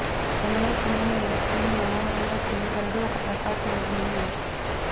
ప్రేమలో సింహము ఏ స్త్రీని మనోహరంగా చేయగలడు ఒక ప్రకాశవంతమైన మనిషి